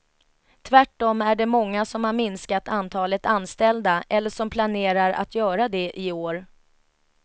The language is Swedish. Tvärtom är det många som har minskat antalet anställda eller som planerar att göra det i år.